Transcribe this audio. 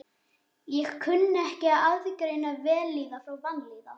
Ég kunni ekki að aðgreina vellíðan frá vanlíðan.